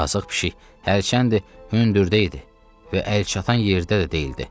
Yazıq pişik hərçəndir hündürdə idi və əlçatan yerdə də deyildi.